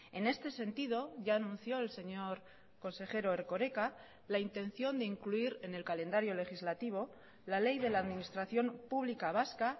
en este sentido ya anunció el señor consejero erkoreka la intención de incluir en el calendario legislativo la ley de la administración pública vasca